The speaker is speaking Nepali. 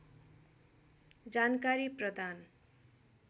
जानकारी प्रदान